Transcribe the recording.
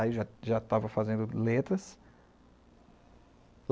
Aí, eu já estava fazendo letras.